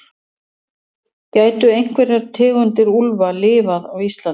gætu einhverjar tegundir úlfa lifað á íslandi